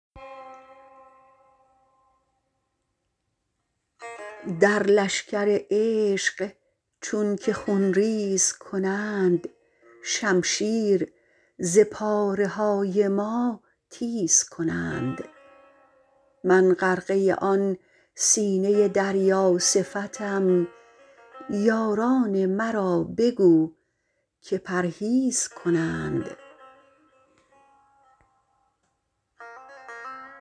در لشکر عشق چونکه خونریز کنند شمشیر ز پاره های ما تیز کنند من غرقه آن سینه دریا صفتم یاران مرا بگو که پرهیز کنند